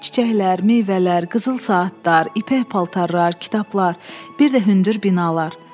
Çiçəklər, meyvələr, qızıl saatlar, ipək paltarlar, kitablar, bir də hündür binalar.